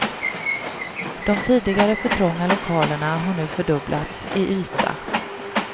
De tidigare för trånga lokalerna har nu fördubblats i yta.